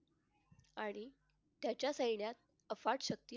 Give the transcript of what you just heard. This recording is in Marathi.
आणि त्याच्या सैन्यात अफाट शक्ती